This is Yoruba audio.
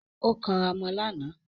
Ó kanra mọ́ lánàá